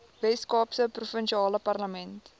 weskaapse provinsiale parlement